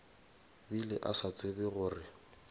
bile a sa tsebe gore